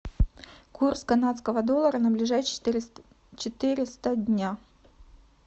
курс канадского доллара на ближайшие четыреста дня